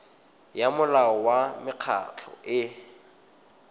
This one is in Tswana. ya molao wa mekgatlho e